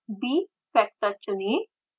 bfactor चुनें